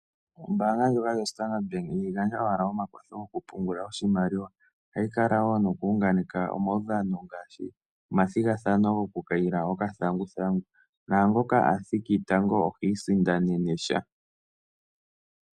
Ombaanga ndjika yaStandard Bank ihayi gandja owala omakwatho gokupungula oshimaliwa, ohayi kala wo nokuunganeka omaudhano ngaashi omathigathano gokukaila okathanguthangu , naangoka athiki tango ohi iisindanene sha.